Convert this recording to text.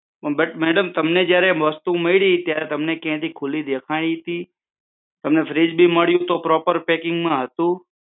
પણ madam તમને જયારે વસ્તુ મળી ત્યારે તમને ક્યાંથી ખુલી દેખાણી હતી. તમને fridge બી મળ્યું ત્યારે proper parking માં હતું?